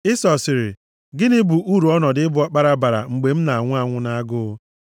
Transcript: Ịsọ sịrị, “Gịnị bụ uru ọnọdụ ịbụ ọkpara bara mgbe m na-anwụ nʼagụụ?”